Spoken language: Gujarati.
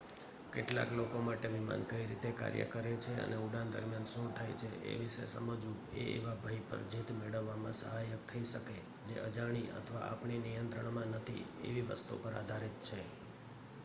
કેટલાક લોકો માટે વિમાન કઈ રીતે કાર્ય કરે છે અને ઉડાન દરમિયાન શું થાય છે એ વિષે સમઝવું એ એવા ભય પર જીત મેળવવામાં સહાયક થઇ શકે જે અજાણી અથવા આપણીં નિયંત્રણમાં નથી એવી વસ્તુ પર આધારિત છે